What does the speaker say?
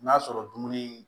N'a sɔrɔ dumuni